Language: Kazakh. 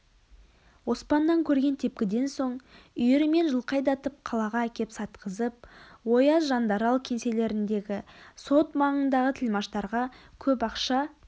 оспаннан көрген тепкіден соң үйірімен жылқы айдатып қалаға әкеп сатқызып ояз жандарал кеңселеріндегі сот маңындағы тілмаштарға көп ақша